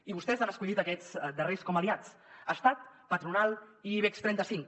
i vostès han escollit aquests darrers com a aliats estat patronal i ibex trenta cinc